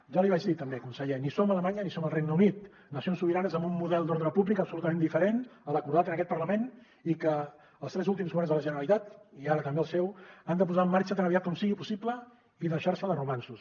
ja li vaig dir també conseller ni som alemanya ni som el regne unit nacions sobiranes amb un model d’ordre públic absolutament diferent a l’acordat en aquest parlament i que els tres últims governs de la generalitat i ara també el seu han de posar en marxa tan aviat com sigui possible i deixar se de romanços